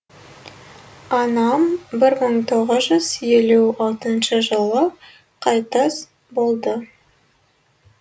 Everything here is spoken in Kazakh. анам бір мың тоғыз жүз елу алтыншы жылы қайтыс болды